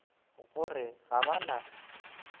go re ga ba na